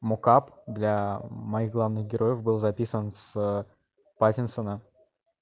мокап для моих главных героев был записан с паттинсона